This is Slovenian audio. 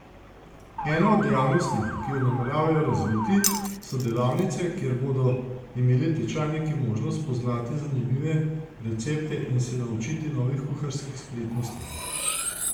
Ena od dejavnosti, ki jo nameravajo razviti, so delavnice, kjer bodo imeli tečajniki možnost spoznati zanimive recepte in se naučiti novih kuharskih spretnosti.